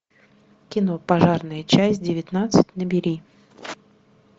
кино пожарная часть девятнадцать набери